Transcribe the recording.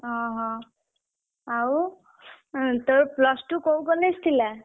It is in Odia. ଓହୋ ଆଉ ଉଁ ତୋର plus two କୋଉ college ଥିଲା?